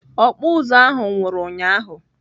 Ọkpụ ụzụ ahụ nwụrụ ụnyaahụ.